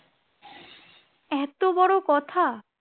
এতো বড়ো কথা